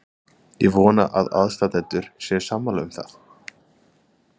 Ég vona að aðstandendur séu sammála um það.